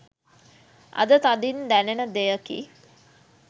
අද තදින් දැනෙන දෙයකි.